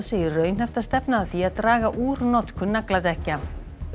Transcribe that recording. segir raunhæft að stefna að því að draga úr notkun nagladekkja